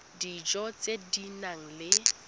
dijo tse di nang le